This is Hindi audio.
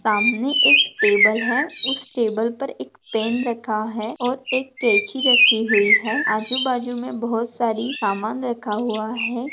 सामने एक टेबल है। उस टेबल पर एक पेन रखा है और एक कैंची रखी हुई है आजूबाजु मे बहुत सारी सामान रखा हुआ है।